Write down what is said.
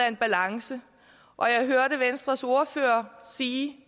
en balance og jeg hørte venstres ordfører sige